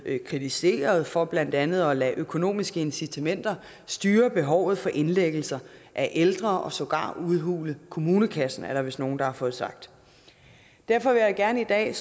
kritiseret for blandt andet at lade økonomiske incitamenter styre behovet for indlæggelse af ældre og sågar udhule kommunekassen er der vist nogen der har fået sagt derfor vil jeg gerne i dag